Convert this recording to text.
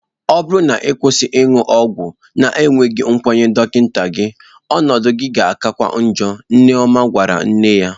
Ọ bụrụ na ị kwụsị ịṅụ ọgwụ na-enweghị nkwenye dọkịta gị, ọnọdụ gị ga-akakwa ọọjọ, Nneoma gwara nne ya.